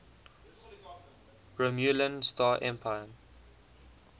romulan star empire